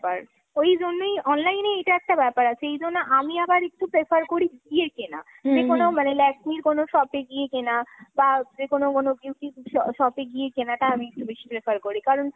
ওই জন্যই। online এ এটা একটা ব্যাপার আছে, এই জন্যে আমি আবার একটু prefer করি গিয়ে কেনা। মানে Lakme র কোনো shop এ গিয়ে কেনা। বা যেকোনো কোনো beauty স shop এ গিয়ে কেনাটা আমি একটু বেশি prefer করি। কারণ,